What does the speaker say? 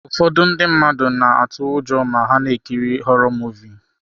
Ụfọdụ ndị mmadụ na-atụ ụjọ ma ha na-ekiri họrọ Muvịị.